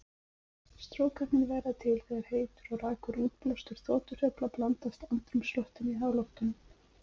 Strókarnir verða til þegar heitur og rakur útblástur þotuhreyfla blandast andrúmsloftinu í háloftunum.